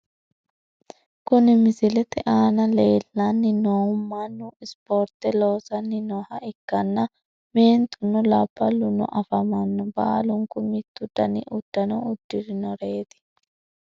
Kuni misilete aana leellanni noohu mannu ispoorte loosanni nooha ikkanna , meentuno labbaluno afamanno. baalunku mittu dani uddano udidhinoreti .